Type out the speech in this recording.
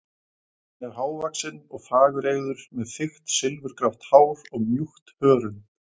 Hann er hávaxinn og fagureygður, með þykkt silfurgrátt hár og mjúkt hörund.